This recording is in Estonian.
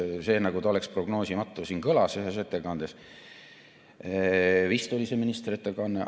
See, nagu ta oleks prognoosimatu, kõlas siin ühes ettekandes, see oli vist ministri ettekanne.